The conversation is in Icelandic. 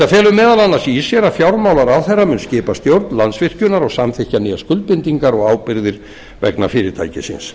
felur meðal annars í sér að fjármálaráðherra mun skipa stjórn landsvirkjunar og samþykkja nýjar skuldbindingar og ábyrgðir vegna fyrirtækisins